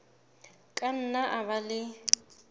ka nna a ba le